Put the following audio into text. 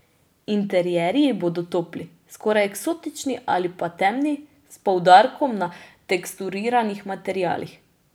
Interierji bodo topli, skoraj eksotični ali pa temni, s poudarkom na teksturiranih materialih.